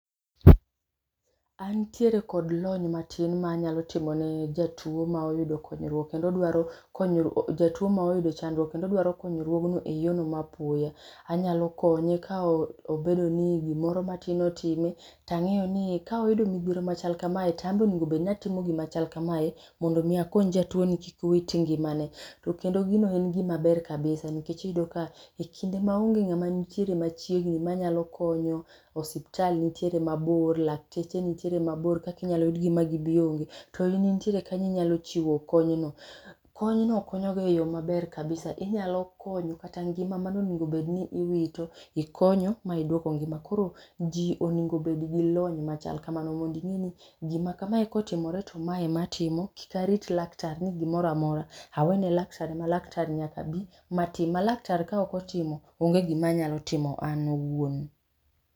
Antiere kod lony matin manyalo timo ni jatuo ma oyudo konyruok kendo odwaro jatuo ma oyudo chandruok kendo odwao konyruogno eyorno ma apoya. Anyalo konye ka obedo ni gimoro matin otime tang'eyo ni kawayudo midhiero machal kamae to an be onego bedni atimo gima chal kamae mondo mi akony jatuoni kik wit ngimane. To kendo gino en gima be kabisa nikech iyudo ka ekinde maonge ng'ama ni machiegni manyalo konyo, osiptal nitiere mabor, lakteche nitiere mabor kaka inyalo yudgi mabor´gibi onge to in intiere kanyo inyalo chiwo konyno. Kony no konyoga eyo maber kabisa inyalo konyo kata ngima mane onego bed ni iwito, ikonyo ma iduoko ngima, koro ji onego obed gi lony machal kamano mondo ing'e ni gima kamae kotimore to mae ema atimo kik arit laktar ni gimoro amora awe ne laktar ma laktar nyaka bi ma tim ma laktar kaok otimo, onge gima anyalo timo an awuon.